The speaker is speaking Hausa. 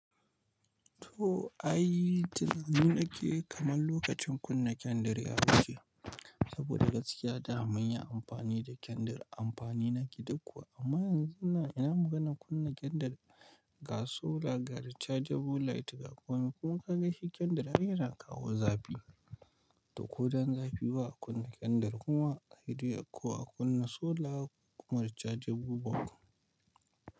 To, ai tunani nake kamar lokacin kunna kendir ya wuce. Saboda gaskiya da mun yi amfani da kendir amfani na gida kuwa amma yanzu na ina muga na kunna kendir ga sola, ga rechargeable light ga komai. Kuma ka ga shi kendir har yana kawo zafi. To, ko don zafi ba a kunna kendir kuma sedai ko a kunna sola kuma rechargeable ba.